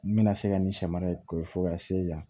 N bɛna se ka nin sɛma koyi fo ka se yan